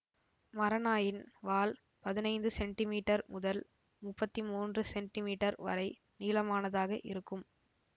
மரநாயின் வால் பதினைந்து சென்டிமீட்டர் முதல் முப்பத்தி மூன்று சென்டிமீட்டர் வரை நீளமானதாக இருக்கும்